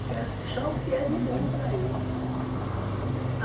Eu quero só o que é de bom para ele.